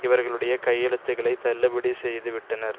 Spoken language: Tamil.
இவர்களுடைய கையெழுத்துக்களைத் தள்ளுபடி செய்து விட்டனர்